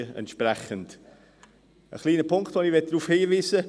Auf einen kleinen Punkt möchte ich noch hinweisen: